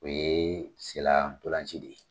O ye sen na ntolan ci de ye.